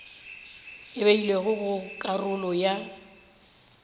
e beilwego go karolo ya